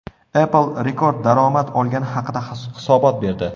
Apple rekord daromad olgani haqida hisobot berdi.